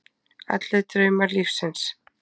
Allir draumar lífsins.